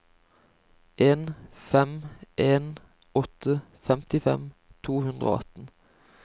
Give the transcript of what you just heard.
en fem en åtte femtifem to hundre og atten